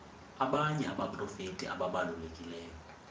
abanye abaprofeti ababalulekileyo